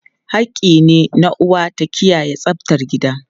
Hakki ne na uwa ta kiyaye tsaftar gida.